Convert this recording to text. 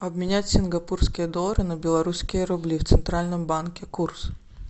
обменять сингапурские доллары на белорусские рубли в центральном банке курс